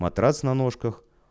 матрац на ножках